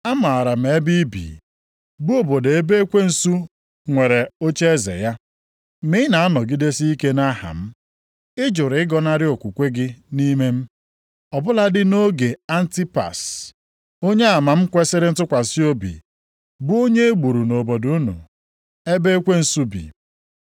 Amaara m ebe i bi, bụ obodo ebe ekwensu nwere ocheeze ya. Ma ị na-anọgidesi ike nʼaha m. Ị jụrụ ịgọnarị okwukwe gị nʼime m, ọ bụladị nʼoge Antipas onyeama m kwesiri ntụkwasị obi, bụ onye e gburu nʼobodo unu, ebe ekwensu bi.